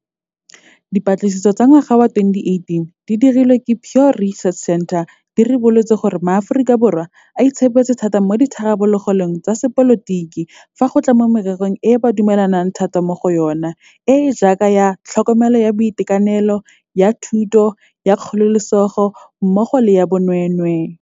Dipatlisiso tsa ngwaga wa 2018 tse di dirilweng ke Pew Research Center di ribolotse gore maAforika Borwa a itshepetse thata mo ditharabololong tsa sepolotiki fa go tla mo mererong eo ba dumelang thata mo go yona, e e jaaka ya tlhokomelo ya boitekanelo, ya thuto, ya kgololesego mmogo le ya bonweenwee.